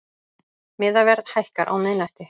Miðaverð hækkar á miðnætti